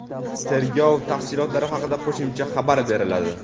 Tergov tafsilotlari haqida qo‘shimcha xabar beriladi.